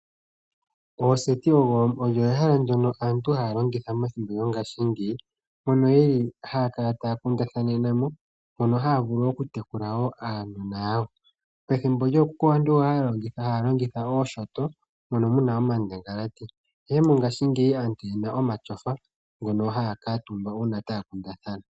Oseti olyo ehala ndyoka aantu haya longitha methimbo lyongaashingeyi mono yeli haya kala taya kundathanenamo mpono haya vulu wo okutekula aanona yawo pethimbo lyookuku aantu oyali haya longitha oshinyanga mono mu na omandangalati ashike mongaashingeyi aantu oye na omatyofa ngono haya kutumba uuna taya kundathana.